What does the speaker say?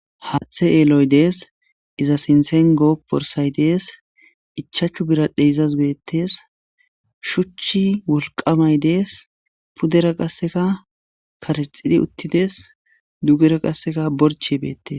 Haththe elloy de'es iza sinthan goporthay de'es ichchachu biradhey izas de'es.shuchchi wolqamay de'es pudera qasekka karexidi uttides.dugera borche de'es.